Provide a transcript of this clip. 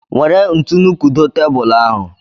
Nwere ntu kudo tebulu ahụ